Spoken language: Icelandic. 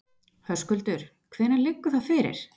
Höskuldur: Hvenær liggur það fyrir?